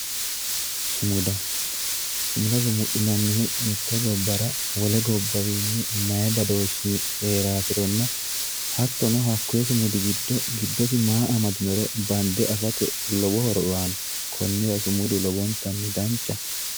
Sumuda, sumuda sumuxinannihu mite gobbara wole gobbawinni mayi badooshi heerasironna hattono hakkiyi sumudi giddo giddosi maa amadinoro bande affate lowo horo aano konnira sumudu lowontanni danchaho.